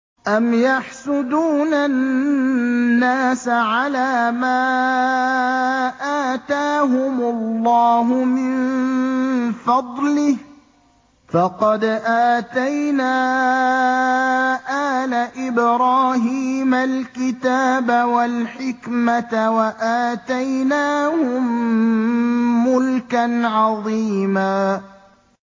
أَمْ يَحْسُدُونَ النَّاسَ عَلَىٰ مَا آتَاهُمُ اللَّهُ مِن فَضْلِهِ ۖ فَقَدْ آتَيْنَا آلَ إِبْرَاهِيمَ الْكِتَابَ وَالْحِكْمَةَ وَآتَيْنَاهُم مُّلْكًا عَظِيمًا